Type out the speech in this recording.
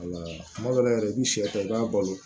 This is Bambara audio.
Wala kuma dɔ la yɛrɛ i bɛ sɛkɛ i b'a balo